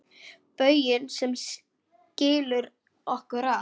Bauginn sem skilur okkur að.